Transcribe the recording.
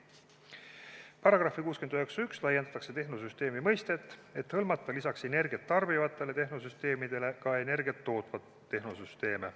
Paragrahvis 691 laiendatakse tehnosüsteemi mõistet, et hõlmata lisaks energiat tarbivatele tehnosüsteemidele ka energiat tootvaid tehnosüsteeme.